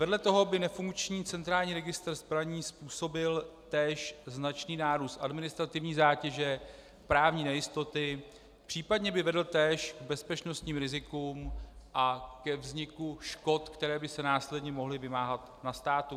Vedle toho by nefunkční centrální registr zbraní způsobil též značný nárůst administrativní zátěže, právní nejistoty, případně by vedl též k bezpečnostním rizikům a ke vzniku škod, které by se následně mohly vymáhat na státu.